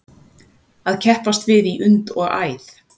Að keppast við í und og æð